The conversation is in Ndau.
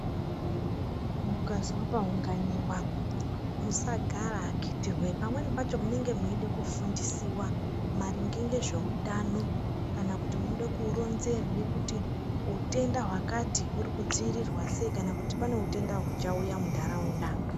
Mukazwa paunganiwa musagara akiti wee. Pamweni pacho mwunenge mweide kufundisiwa maringe ngezveutano kana kuti munode kuronzerwe kuti utenda hwakati huri kudziirirwa sei kana kuti pane utenda huchauya muntaraunda.